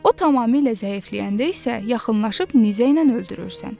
O tamamilə zəifləyəndə isə yaxınlaşıb nizə ilə öldürürsən.